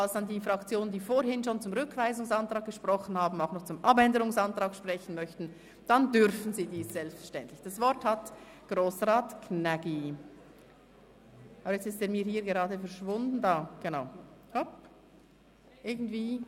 Falls die Fraktionen, die bereits zum Rückweisungsantrag gesprochen haben, auch noch zum Abänderungsantrag sprechen möchten, dann dürfen sie dies selbstverständlich tun.